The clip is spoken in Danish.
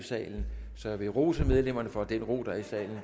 i salen så jeg vil rose medlemmerne for den ro der er i salen